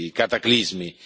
cataclismi.